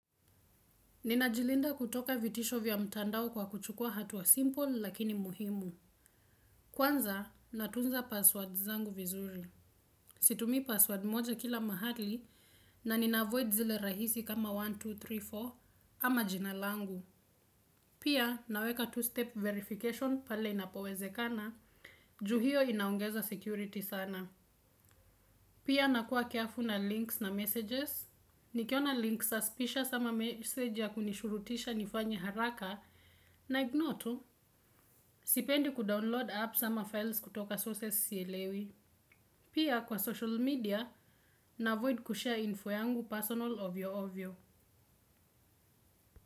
Ninajilinda kutoka vitisho vya mtandao kwa kuchukua hatua simple lakini muhimu. Kwanza natunza password zangu vizuri. Situmi password moja kila mahali na ninaavoid zile rahisi kama moja, mbili, tatu, nne ama jinalangu. Pia naweka two-step verification pale inapowezekana. Ju hio inaongeza security sana. Pia nakuwa careful na links na messages. Nikiona links suspicious ama message ya kunishurutisha nifanyi haraka na ignotu, sipendi kudownload app sama files kutoka sources sielewi. Pia kwa social media, na avoid kushare info yangu personal ovyo ovyo.